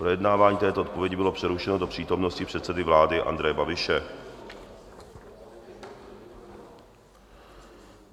Projednávání této odpovědi bylo přerušeno do přítomnosti předsedy vlády Andreje Babiše.